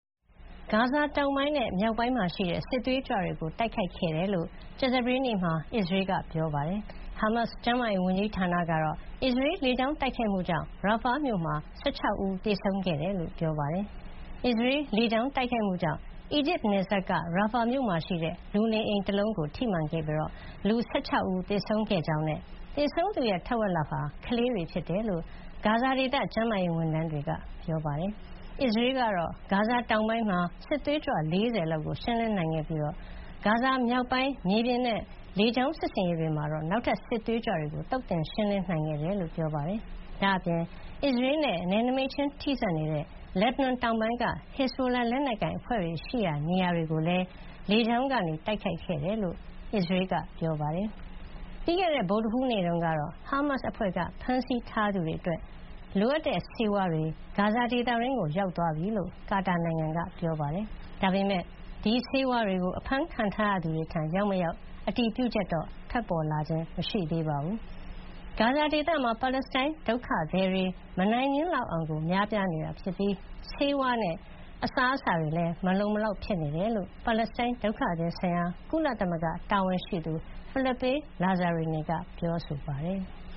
ဂါဇာတောင်ပိုင်းနဲ့မြောက်ပိုင်းမှာရှိတဲ့ စစ်သွေးကြွတွေကို တိုက်ခိုက်ခဲ့တယ်လို့ ကြာသပတေးနေ့တုန်းက အစ္စရေးကပြော ပါတယ်။ ဟာမတ်စ် ကျန်းမာရေးဝန်ကြီးဌာနကတော့ အစ္စရေးလေကြောင်း တိုက်ခိုက်မှုကြောင့် ရာဖာ Rafah မြို့မှာ ၁၆ ဦးသေဆုံးခဲ့တယ်လို့ဆိုပါတယ်။ အစ္စရေးလေကြောင်းတိုက်ခိုက်မှုကြောင့် အီဂျစ်နယ်စပ်က ရာဖာမြို့မှာရှိတဲ့ လူနေအိမ်တလုံးကိုထိမှန်ခဲ့ပြီး လူ ၁၆ ဦးသေဆုံးခဲ့ကြောင်းနဲ့ သေဆုံးသူတဝက်ဟာ ကလေးတွေဖြစ်တယ်လို့ ဂါဇာဒေသကျန်းမာရေးဝန်ထမ်းတွေက ပြောပါတယ်။ အစ္စရေးကတော့ ဂါဇာတောင်ပိုင်းမှာ စစ်သွေးကြွ ၄၀ လောက်ကို ရှင်းလင်းနိုင်ခဲ့ပြီး ဂါဇာမြောက်ပိုင်း မြေပြင်နဲ့လေကြောင်း စစ်ဆင်ရေးတွေမှာ နောက်ထပ်စစ်သွေးကြွတွေကို သုတ်သင်ရှင်းလင်းနိုင်ခဲ့တယ်လို့ဆိုပါတယ်။ ဒါ့အပြင် အစ္စရေးနဲ့နယ်နိမိတ်ခြင်းထိစပ်နေတဲ့ လက်ဘနွန်တောင်ပိုင်းက ဟစ်ဇဘိုလာ လက်နက်ကိုင်အဖွဲ့တွေရှိရာ နေရာတွေကိုလည်း လေကြောင်းကနေတိုက်ခိုက်ခဲ့တယ်လို့ အစ္စရေးကပြောပါတယ်။ ပြီးခဲ့တဲ့ဗုဒ္ဓဟူးနေ့တုန်းကတော့ ဟာမတ်စ်အဖွဲ့ကဖမ်းဆီးထားသူတွေအတွက် လိုအပ်တဲ့ဆေးဝါးတွေ ဂါဇာဒေသတွင်းကိုရောက်ရှိသွားပြီလို့ ကာတာနိုင်ငံကပြောပါတယ်။ ဒါပေမယ့် ဒီဆေးဝါးတွေကို အဖမ်းခံထားရသူတွေထံရောက်မရောက်တော့ အတည်ပြုချက်ထွက်ပေါ်လာခြင်းမရှိသေးပါတယ်။ ဂါဇာဒေသမှာ ပါလက်စတိုင်းဒုက္ခတွေ မနိုင်မနင်းလောက်အောင် များပြားနေပြီး ဆေးဝါးနဲ့စားအစားအစာတွေမလုံမလောက်ဖြစ်နေတယ်လို့ ပါလက်စတိုင်းဒုက္ခသည်ဆိုင်ရာ ကုလသမဂ္ဂတာဝန်ရှိသူ Philippe Lazzarini ကပြောဆိုထားပါတယ်။